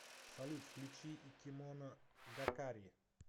салют включи икимоно гакари